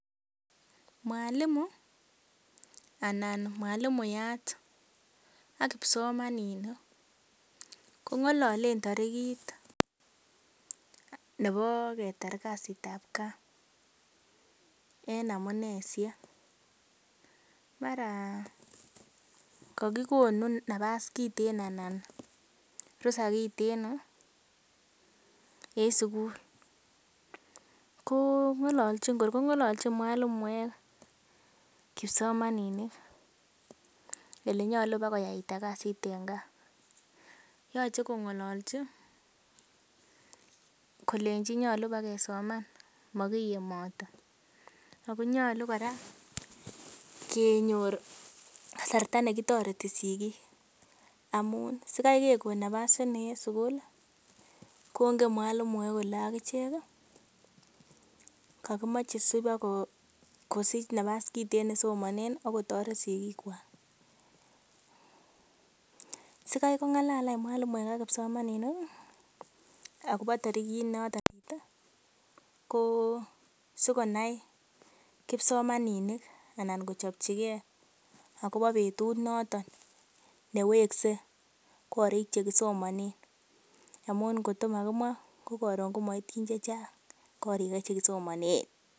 Mwalimu anan mwalimuyat ak kipsomaninik kong'ololen tarigit nebo ketar kasitab gaa en amuneishek. Mara kogikonu nafas kiten anan ruhusa kiteno en sugul. Ko kor ko ng'olochin mwalimuek kipsomaninik ele nyolu kobakoyaita kasit en gaa. Yoche kong'ololchi kolenchi nyolu bagesoman mogiyemote. Ago nyolu kora kenyor kasarta negitoreti sigik amun sikai kegon nafas ini en sugul kongen mwalimu kole ak ichek kogimoche sibokosich nafas kiten nesomanen ak kotoret sigikwak. Sikai kong'alal any mwalimu ak kipsomaninik agobo tarigit noto ko sikonai kipsomaninik anan kochopchige agobo betut noto neweksei korik che kisomanen amun ngotko magimwa ko koron komoityin chechang korik che kisomanen.